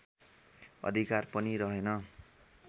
अधिकार पनि रहेन